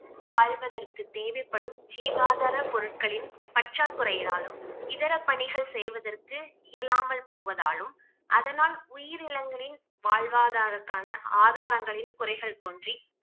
வாழ்வதற்கு தேவைப்படும் ஜீவாதார பொருட்களின் பற்றாக்குறையினாலும் இதர பணிகள் செய்வதற்கு இயலாமல் போவதாலும் அதனால் உயிரினங்களின் வாழ்வாதாரத்துக்கான ஆதாரங்களின் குறைகள் தோன்றி